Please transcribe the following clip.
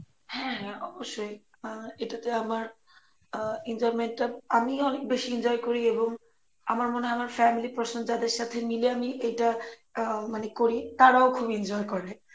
হ্যাঁ হ্যাঁ অবশ্যই আহ এটাতে আমার আহ enjoyment টা আমি অনেক বেশি enjoy করি এবং আমার মনে হয় আমার family যাদের সাথে মিলে আমি এইটা আহ মানে করি তারাও খুব enjoy করে